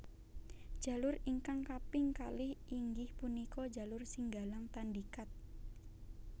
Jalur ingkang kaping kalih inggih punika jalur Singgalang Tandikat